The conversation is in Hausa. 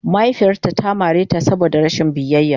Mahaifiyarta ta mare ta saboda rashin biyayya.